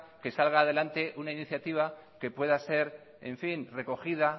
que salga adelante una iniciativa que pueda ser recogida